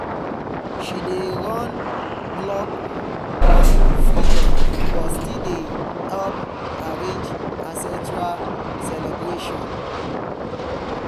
she dey run blog on freedom but she still dey help arrange ancestral celebration